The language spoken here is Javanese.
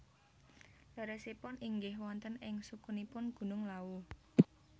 Leresipun inggih wonten ing sukunipun Gunung Lawu